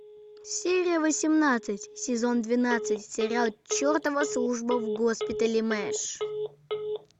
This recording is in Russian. серия восемнадцать сезон двенадцать сериал чертова служба в госпитале мэш